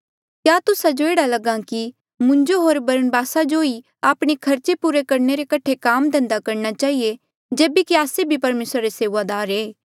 क्या तुस्सा जो एह्ड़ा लगहा कि मुंजो होर बरनबासा जो ही आपणे खर्चे पुरे करणे रे कठे काम धंधा करणा चहिए जेबे कि आस्से भी परमेसरा रे सेऊआदार ऐें